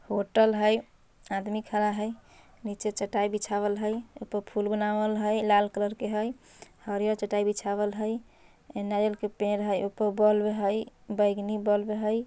होटल हइ आदमी खड़ा हइ। निचे चटाई बिछाबल हइ। ऊपर फुल बनावल हइ। लाल कलर के हइ हरिया चटाई बिछावल हइ। नारियल के पेड़ हइ। ऊपर बल्ब हइ बैंगनी बल्ब हइ।